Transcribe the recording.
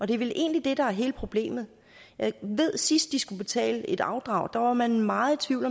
det er vel egentlig det der er hele problemet jeg ved at sidst de skulle betale afdrag var man meget i tvivl